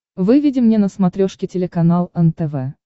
выведи мне на смотрешке телеканал нтв